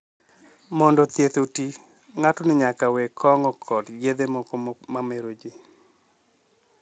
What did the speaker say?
Mondo thieth oti, ng'atno nyaka we kong'o kod yedhe moko mameroji.